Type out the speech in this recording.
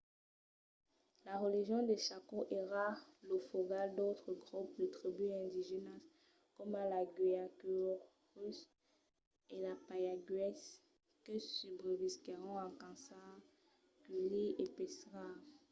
la region de chaco èra lo fogal d'autres grops de tribús indigènas coma los guaycurús e payaguás que subrevisquèron en caçar culhir e pescar